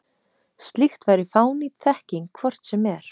Slíkt væri fánýt þekking hvort sem er.